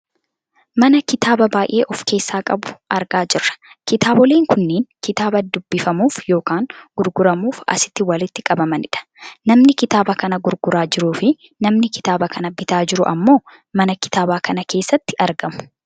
Mana kitaaba baayyee of keessaa qabu argaa jirra. Kitaaboleen kunniin kitaaba dubbifamuuf yookaan gurguramuuf asitti walitti qabamanidha. Namni kitaaba kana gurguraa jiruufi namni kitaaba kana bitaa jiru ammoo mana kitaaabaa kana keessatti argamu.